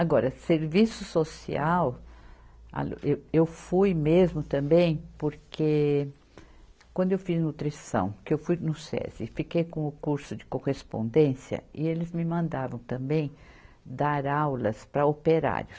Agora, serviço social, alu, eu eu fui mesmo também porque quando eu fiz nutrição, que eu fui no Sesi e fiquei com o curso de correspondência e eles me mandavam também dar aulas para operários.